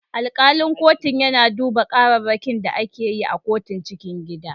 Alkalin kotun yana duba kararrakin da ake yi a kotun cikin gida.